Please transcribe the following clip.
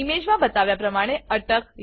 image માં બતાવ્યા પ્રમાણે અટક